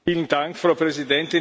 Frau Präsidentin!